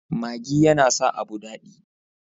Maggi yana sa abu dadi.